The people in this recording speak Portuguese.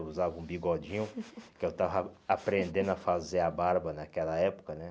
Eu usava um bigodinho, porque eu estava aprendendo a fazer a barba naquela época, né?